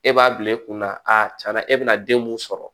E b'a bila e kunna tiɲɛna e bɛna den mun sɔrɔ